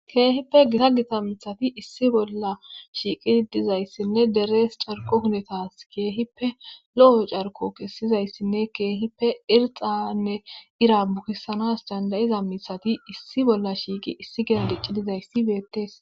keehippe gita gita mithati issi bolla shiiqi dizayssinne derees carko hunetas keehippe lo7o carko kessizayssinne keehippe irxanne ira buhissanas dandayiza mithati issi bolla shiiqi issi gina dicci dizayssi beettees